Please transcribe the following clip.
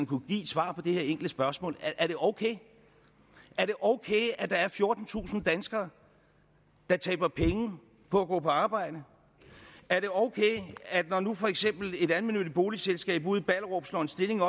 kunne give et svar på det enkle spørgsmål er det okay at okay at der er fjortentusind danskere der taber penge på at gå på arbejde er det okay at når nu for eksempel et almennyttigt boligselskab ude i ballerup slår en stilling